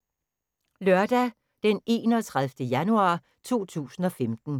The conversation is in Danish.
Lørdag d. 31. januar 2015